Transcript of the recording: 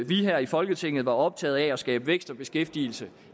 vi her i folketinget var optaget af at skabe vækst og beskæftigelse